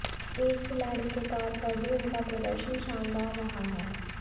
एक खिलाड़ी के तौर पर भी उनका प्रदर्शन शानदार रहा है